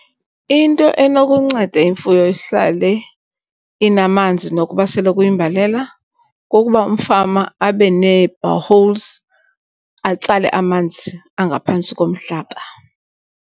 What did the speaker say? Into enokunceda imfuyo ihlale inamanzi nokuba sele kuyimbalela kukuba umfama abe nee-boreholes atsale amanzi angaphantsi komhlaba.